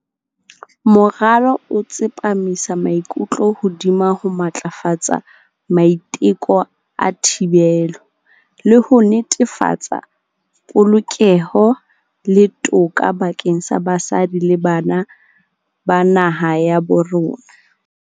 "Moralo o tsepamisa maikutlo hodima ho matlafatsa maiteko a thibelo, le ho netefatsa polokeho le toka bakeng sa basadi le bana ba naha ya bo rona."